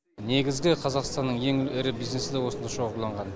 негізгі қазақстанның ең ірі бизнесі да осында шоғырланған